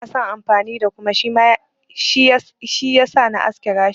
Bans son amfani da kuma, shi yasa na aske gashina.